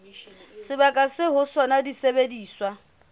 sebakeng seo ho sona disebediswa